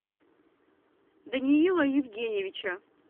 даниила евгеньевича